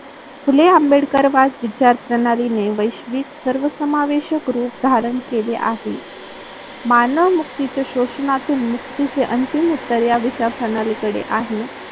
फुले आंबेडकरवाद विचार प्रणालीने वैश्विक सर्वसमावेषक रूप धारण केले आहे. मानव मुक्तीच्या शोषणातून मुक्तीचे अंतिम उत्तर या विचार प्रणालीकडे आहे.